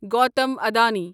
Gautam Adani